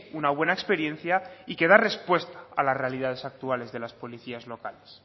una buena experiencia y que da respuesta a la realidad actual de las policías locales